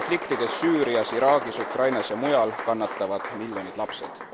Konfliktides Süürias, Iraagis, Ukrainas ja mujal kannatavad miljonit lapsed.